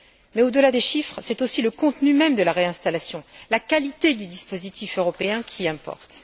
Mais au delà des chiffres, c'est aussi le contenu même de la réinstallation, la qualité du dispositif européen qui importe.